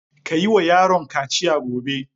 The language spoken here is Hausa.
Ka yi wa yaron kaciya gobe!